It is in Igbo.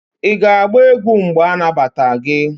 ị ga-agba egwu mgbe anagbata gi?